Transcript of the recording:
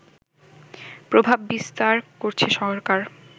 প্রভাব বিস্তার করছে সরকার